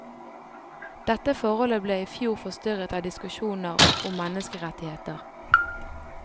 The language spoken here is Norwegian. Dette forholdet ble i fjor forstyrret av diskusjoner om menneskerettigheter.